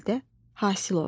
Xalidə Hasılova.